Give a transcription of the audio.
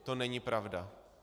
To není pravda.